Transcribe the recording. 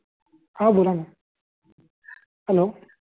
हा बोला ना हॅलो